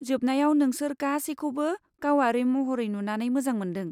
जोबनायाव नोंसोर गासैखौबो गावारि महरै नुनानै मोजां मोन्दों।